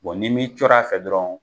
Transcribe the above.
Bon ni m'i cɔr'a fɛ dɔrɔn